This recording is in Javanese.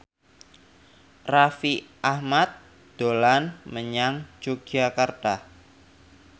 Raffi Ahmad dolan menyang Yogyakarta